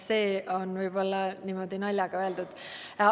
See oli niimoodi naljaga öeldud.